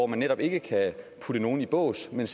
man netop ikke putte nogen i bås men